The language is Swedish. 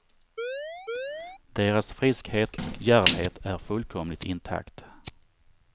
Deras friskhet och djärvhet är fullkomligt intakt.